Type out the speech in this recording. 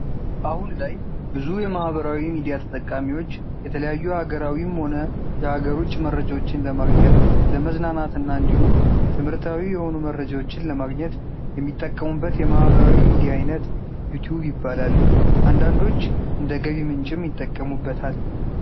አሁን ላይ ብዙ የማህበራዊ ሚዲያ ተጠቃሚዎች የተለያዩ ሃገራዊም ሆነ የሃገር ውጪ መረጃዎችን ለማግኘት ፣ ለመዝናናት እና እንዲሁም ትምህርታዊ የሆኑ መረጃዎችን ለማገኘት የሚጠቀሙበት የማህበራዊ ሚድያ አይነት ዩቲዩብ ይባላል። አንዳንዶች እንደ ገቢ ምንጭም ይጠቀሙበታል።